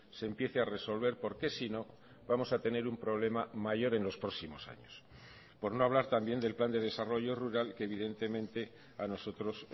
se empiece a resolver porque si no vamos a tener un problema mayor en los próximos años por no hablar también del plan de desarrollo rural que evidentemente a nosotros